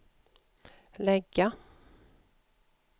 lägga